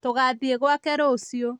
tũgathiĩ gwake rũciũ